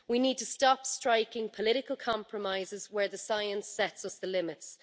We need to stop striking political compromises where the science sets us the limits.